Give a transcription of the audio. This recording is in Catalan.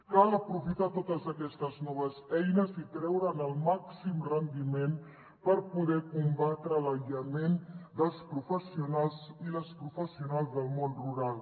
cal aprofitar totes aquestes noves eines i treure’n el màxim rendiment per poder combatre l’aïllament dels professionals i les professionals del món rural